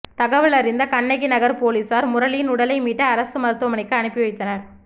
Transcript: தகவல் அறிந்த கண்ணகிநகர் போலீசார் முரளியின் உடலை மீட்டு அரசு மருத்துவமனைக்கு அனுப்பி வைத்தனர்